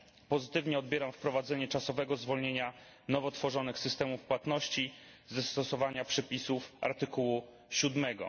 Pozytywnie odbieram wprowadzenie czasowego zwolnienia nowo tworzonych systemów płatności ze stosowania przepisów artykułu siódmego.